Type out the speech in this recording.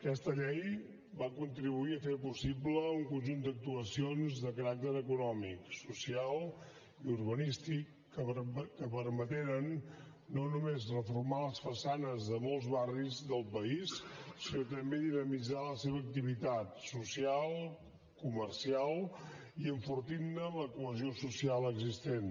aquesta llei va contribuir a fer possible un conjunt d’actuacions de caràcter econòmic social i urbanístic que permeteren no només reformar les façanes de molts barris dels país sinó també dinamitzar la seva activitat social comercial i enfortirne la cohesió social existent